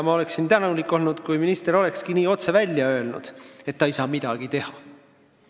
Ma oleksin tänulik olnud, kui minister olekski otse välja öelnud, et ta ei saa midagi teha.